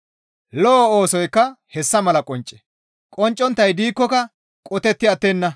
Lo7o oosoykka hessa mala qoncce; qoncconttay diikkoka qotetti attenna.